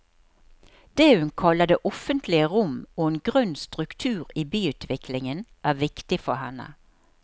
Det hun kaller det offentlige rom og en grønn struktur i byutviklingen er viktig for henne.